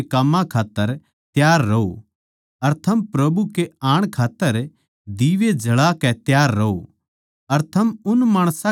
हमेशा परमेसवर के काम्मां खात्तर तैयार रहों अर थम प्रभु के आण खात्तर दीवे जळा कै तैयार रहों